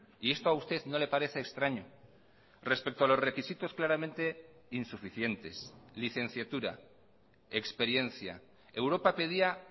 y esto a usted no le parece extraño respecto a los requisitos claramente insuficientes licenciatura experiencia europa pedía